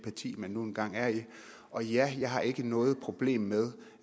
parti man nu engang er i og ja jeg har ikke noget problem med